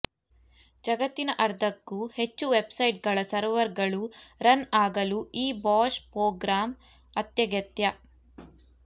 ಜಗತ್ತಿನ ಅರ್ಧಕ್ಕೂ ಹೆಚ್ಚು ವೆಬ್ ಸೈಟ್ ಗಳ ಸರ್ವರ್ ಗಳು ರನ್ ಆಗಲು ಈ ಬಾಶ್ ಪೋಗ್ರಾಂ ಅತ್ಯಗತ್ಯ